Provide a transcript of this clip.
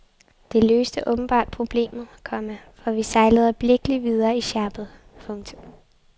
Det løste åbenbart problemet, komma for vi sejlede øjeblikkelig videre i sjappet. punktum